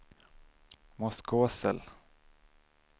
Moskosel